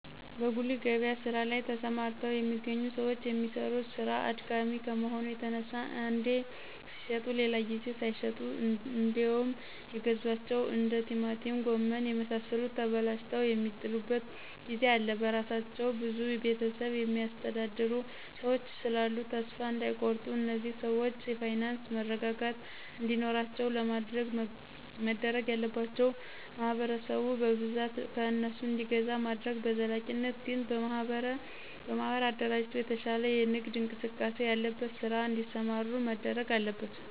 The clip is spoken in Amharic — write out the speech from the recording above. በጉሊት ገበያ ስራ ላይ ተሰማርተው የሚገኙ ሰዎች የሚሰሩት ስራ አድካሚ ከመሆኑ የተነሳ አንዴ ሲሽጡ ሌላ ጊዜ ሳይሸጡ እንዴውም የገዟቸው እንደ ቲማቲም ጎመን የመሳሰሉት ተበላሽተው የሚጥሉበት ጊዜ አለ በስራቸው ብዙ ቤተሰብ የሚያስተዳድሩ ሰዎች ስላሉ ተሰፋ እዳይቆርጡ እነዚህን ሰዎች የፋይናንስ መረጋጋት እንዲኖራቸው ለማድረግ መደረግ ያለባቸው ማህበረሰቡ በብዛት ከእነሱ እንዲገዛ ማድረግ በዘላቂነት ግን በማህበር አደራጅቶ የተሻለ የንግድ እንቅስቃሴ ያለበት ስራ እዲሰሩ መደረግ አለበት።